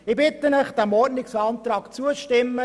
Ich bitte Sie, diesem Ordnungsantrag zuzustimmen.